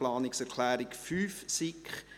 Planungserklärung 5, SiK: